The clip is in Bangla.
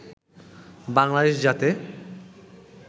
বাংলাদেশ যাতে